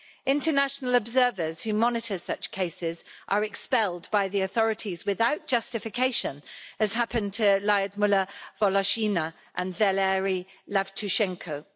International observers who monitor such cases are expelled by the authorities without justification, as happened to Lyudmyla Voloshyna and Valeriy Yavtushenko.